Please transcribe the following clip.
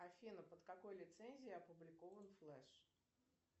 афина под какой лицензией опубликован флэш